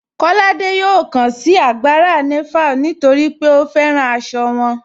Kọládé yọ̀ọ́ kàn sí àgbárà Nàvàl̀ nítorí pé ó fẹ́ràn àṣọ wọn.